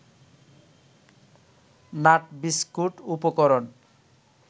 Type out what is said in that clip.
nut biscuit উপকরণ